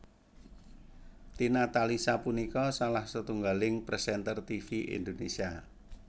Tina Talisa punika salah setunggaling présènter tivi Indonésia